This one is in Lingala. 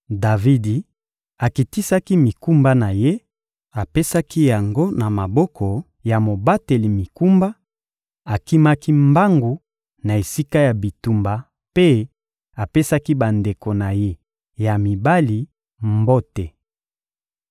Davidi akitisaki mikumba na ye, apesaki yango na maboko ya mobateli mikumba, akimaki mbangu na esika ya bitumba mpe apesaki bandeko na ye ya mibali mbote.